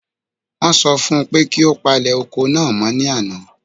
Wọ́n sọ fún un pé kí ó palẹ̀ oko náà mọ́ ní àná.